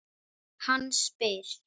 Hann spyr.